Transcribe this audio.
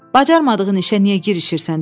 Bacarmadığın işə niyə girişirsən dedi.